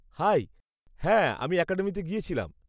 High! হ্যাঁ, আমি অ্যাকাডেমিতে গিয়েছিলাম।